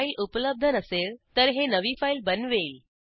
file उपलब्ध नसेल तर हे नवी फाईल बनवेल